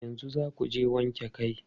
Yanzu za ku je wanke kai?